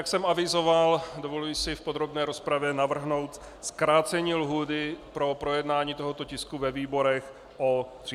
Jak jsem avizoval, dovoluji si v podrobné rozpravě navrhnout zkrácení lhůty pro projednání tohoto tisku ve výborech o 30 dní.